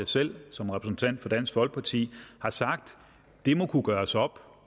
selv som repræsentant for dansk folkeparti har sagt at det må kunne gøres op